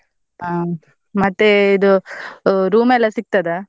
ಹಾ ಮತ್ತೆ ಇದು ಹ್ಮ್, room ಎಲ್ಲ ಸಿಗ್ತದಾ?